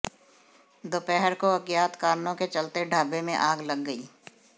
दोपहर को अज्ञात कारणों के चलते ढाबे में आग लग गई